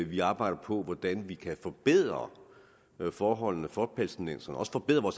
vi arbejde på hvordan vi kan forbedre forholdene for palæstinenserne og også forbedre